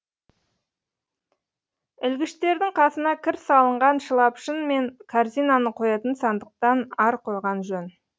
ілгіштердің қасына кір салынған шылапшын мен корзинаны қоятын сандықтан ар қойған жөн